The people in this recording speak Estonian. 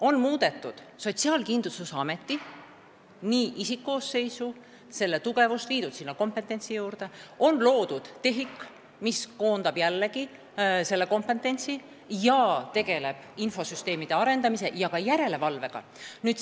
On muudetud Sotsiaalkindlustusameti isikkoosseisu, sinna on kompetentsi juurde toodud, on loodud TEHIK, mis koondab sellealast kompetentsi ja tegeleb infosüsteemide arendamise ja ka järelevalvega.